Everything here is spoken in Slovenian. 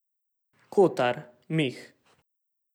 Kotar, Mih.